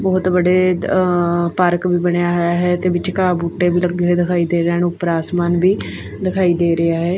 ਬਹੁਤ ਬੜੇ ਪਾਰਕ ਵੀ ਬਣਿਆ ਹੋਇਆ ਹੈ ਤੇ ਵਿਚਕਾਰ ਬੂਟੇ ਲੱਗੇ ਦਿਖਾਈ ਦੇ ਰਹਿਣ ਉੱਪਰ ਆਸਮਾਨ ਵੀ ਦਿਖਾਈ ਦੇ ਰਿਹਾ ਹੈ।